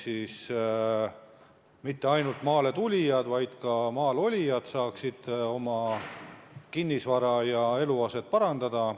Seega mitte ainult maale tulijad, vaid ka maal olijad saaksid selle abil oma eluaset ja muud kinnisvara parandada.